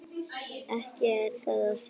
Ekki er það að sjá.